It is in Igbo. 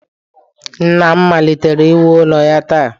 Nna m malitere iwu ụlọ ya taa